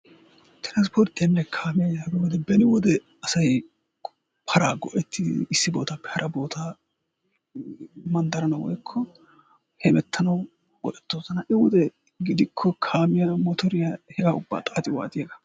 transporttiyanne kaamiyaa giyooge beni wode asay paraa go''ettidi issi boottappe hara boottaa manddaranaw woykko hemmettanaw go''ettoosna, ha'i wode gidikko kaamiyaa, motoriyaa hegaa uba xaaxi waaxiyaagaa.